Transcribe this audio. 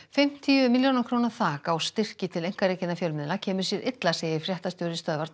fimmtíu milljóna króna þak á styrki til einkarekinna fjölmiðla kemur sér illa segir fréttastjóri Stöðvar